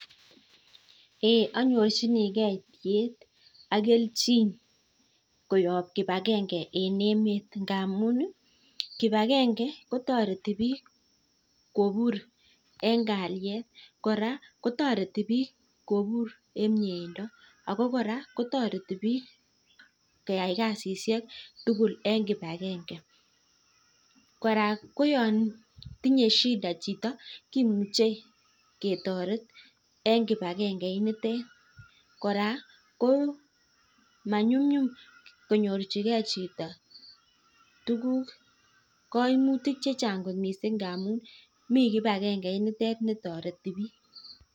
Eeh anyirchinigei tiet ak kelchin koyop kip agenge en emet ngamun kip agenge kotareti piik kopur eng' kalyet. Kora kotareti piik kopur en mieindo ako kora kotareti piik keyai kasishek tugul en kip agenge. Kora ko yan tinye shida kimuchi ketaret en kip agenge initet. Kora ko ma nyumnyum konyorchigei chito tuguk ,kaimutik che chang' kot missing' ngamun mi kip agenge initet ne tareti piik.